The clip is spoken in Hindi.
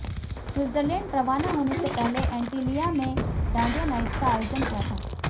स्विट्जरलैंड रवाना होने से पहले एंटीलिया में डांडिया नाइट्स का आयोजन किया था